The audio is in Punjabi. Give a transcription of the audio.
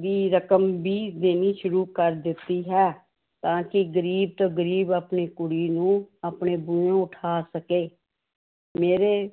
ਦੀ ਰਕਮ ਵੀ ਦੇਣੀ ਸ਼ੁਰੂ ਕਰ ਦਿੱਤੀ ਹੈ ਤਾਂ ਕਿ ਗ਼ਰੀਬ ਤੋਂ ਗ਼ਰੀਬ ਆਪਣੀ ਕੁੜੀ ਨੂੰ ਆਪਣੇ ਉਠਾ ਸਕੇ ਮੇਰੇ